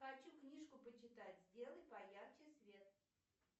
хочу книжку почитать сделай поярче свет